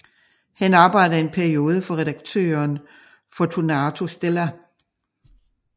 Han arbejdede en periode for redaktøren Fortunato Stella